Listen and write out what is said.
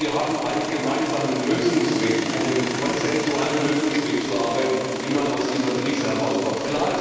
Und sie haben einen gemeinsamen Lösungsweg, einen konsensualen Lösungsweg zu erarbeiten, wie man aus dieser Krise herauskommt.